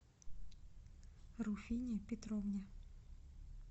руфине петровне